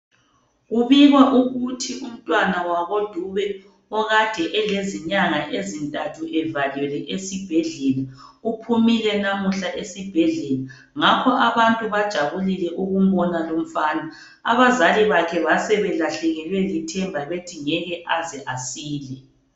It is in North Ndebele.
Kubikwa ukuthi umntwana wakoDube okade elezinyanga ezintathu evalelwe esibhedlela uphumile namuhla esibhedlela ngakho abantu bajabulile ukumbona lumfana abazali bakhe basebelahlekelwe lithemba bethi ngeke aze asile